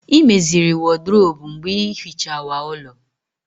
Ị meziri wọdrobu mgbe ịhichawa ulọ